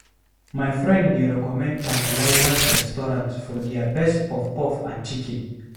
My friend dey recommend Tantalizers restaurant for their best puff-puff and chicken.